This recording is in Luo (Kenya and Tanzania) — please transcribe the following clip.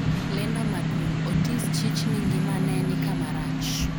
lendo maduong' Otis chich ni ngima ne nikama rach